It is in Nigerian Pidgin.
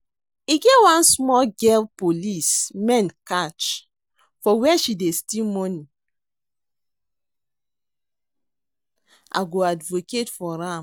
E get one small girl police men catch for where she dey steal money, I go advocate for am